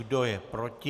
Kdo je proti?